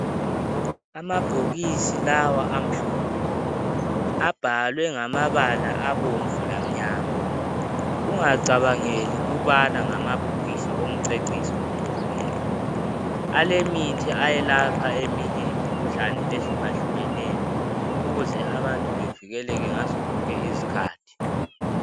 Amabhokisi lawa amhlophe, abhalwe ngamabala abomvu lamnyama. Ungacabangeli ukubana ngamabhokisis omceciso nje kuphela, alemithi ayelapha eminye imikhuhlane ehlukahlukeneyo ukuze abantu bevikeleke ngazo zonke izikhathi